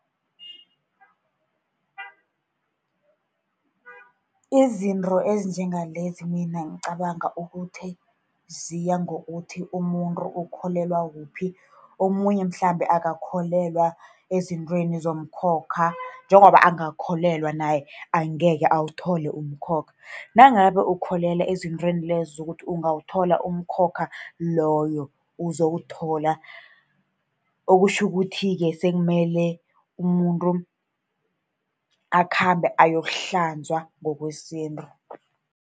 Izinto ezinjengalezi, mina ngicabanga ukuthi ziyangokuthi umuntu ukholelwa kuphi. Omunye mhlambe akakholelwa ezintweni zomkhokha. Njengoba angakholelwa naye, angekhe awuthole umkhokha. Nangabe ukholelwa ezintweni lezo zokuthi ungathola umkhokha loyo, uzowuthola. Okutjho ukuthi-ke sekumele umuntu akhambe ayokuhlanzwa ngokwesintu.